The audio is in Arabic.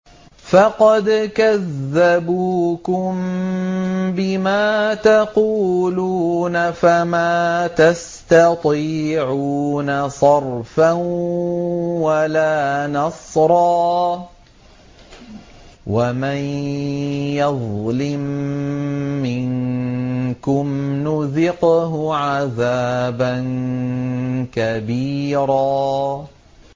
فَقَدْ كَذَّبُوكُم بِمَا تَقُولُونَ فَمَا تَسْتَطِيعُونَ صَرْفًا وَلَا نَصْرًا ۚ وَمَن يَظْلِم مِّنكُمْ نُذِقْهُ عَذَابًا كَبِيرًا